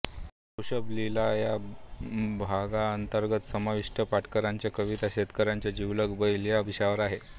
वृषभलीळा या विभागाअंतर्गत समाविष्ट पाटेकरच्या कविता शेतकऱ्यांचा जिवलग बैल या विषयावर आहेत